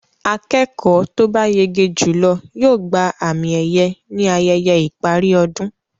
Akẹ́kọ̀ọ́ to bá yege jùlọ yóò gba àmì-ẹ̀yẹ ní ayẹyẹ ìparí ọdún.